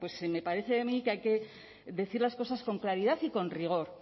pues me parece a mí que hay que decir las cosas con calidad y con rigor